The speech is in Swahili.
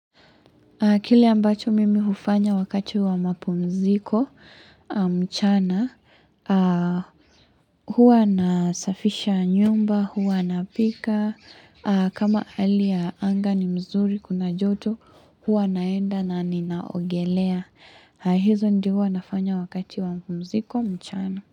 Kile ambacho mimi hufanya wakati wa mapumziko mchana, huwa nasafisha nyumba, huwa napika, kama hali ya anga ni mzuri kuna joto, huwa naenda na ninaogelea. Hizo ndivo nafanya wakati wa mapumziko, mchana.